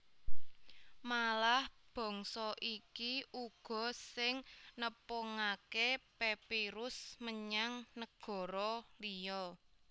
Malah bangsa iki uga sing nepungaké papyrus menyang negara liya